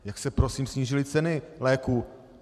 Jak se prosím snížily ceny léků?